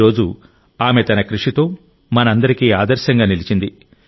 ఈరోజు ఆమె తన కృషితో మనందరికీ ఆదర్శంగా నిలిచింది